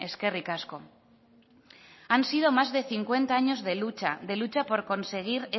eskerrik asko han sido más de cincuenta años de lucha de lucha por conseguir